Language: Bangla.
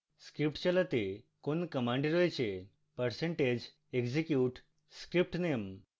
script চালাতে কোন command রয়েছে